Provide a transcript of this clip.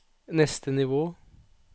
neste nivå